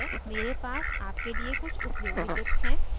मेरे पास आपके लिए कुछ उपयोगी tips हैं